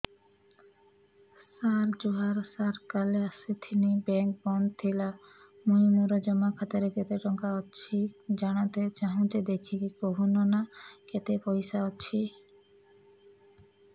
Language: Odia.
ସାର ଜୁହାର ସାର କାଲ ଆସିଥିନି ବେଙ୍କ ବନ୍ଦ ଥିଲା ମୁଇଁ ମୋର ଜମା ଖାତାରେ କେତେ ଟଙ୍କା ଅଛି ଜାଣତେ ଚାହୁଁଛେ ଦେଖିକି କହୁନ ନା କେତ ପଇସା ଅଛି